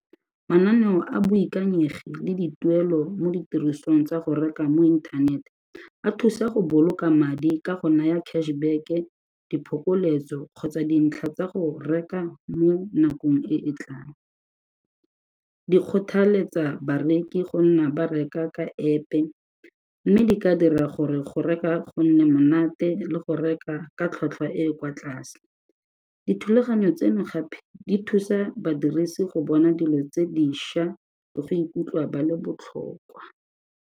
Mananeo a boikanyegi le dituelo mo ditirisong tsa go reka mo inthanete a thusa go boloka madi ka go naya cash back-e, diphokoletso kgotsa dintlha tsa go reka mo nakong e e tlang. Di kgothaletsa bareki go nna ba reka ka App-e mme di ka dira gore go reka go nne monate le go reka ka tlhwatlhwa e e kwa tlase, dithulaganyo tseno gape di thusa badirisi go bona dilo tse dišwa le go ikutlwa ba le botlhokwa.